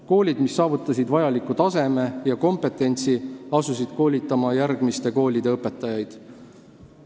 Koolid, mis saavutasid vajaliku taseme ja kompetentsi, asusid koolitama järgmiste koolide õpetajaid.